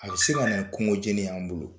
A bi se ka na ni kungo jeni y'an bolo.